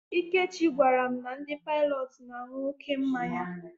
Ikechi gwara m na ndị Paịlọt na-aṅụ oké mmanya